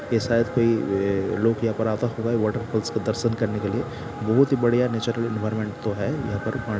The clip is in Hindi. ये शायद कोई अ-अ लोग यहाँ पर आता होगा वाटरफॉल्स की दर्शन करने के लिए। बहुत ही बढ़िया नेचुरल एनवायरनमेंट तो है यहाँपे।